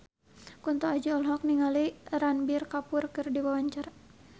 Kunto Aji olohok ningali Ranbir Kapoor keur diwawancara